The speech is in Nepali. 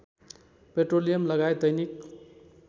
पेट्रोलियम लगायत दैनिक